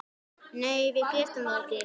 Nei, við getum það ekki.